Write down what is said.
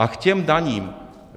A k těm daním.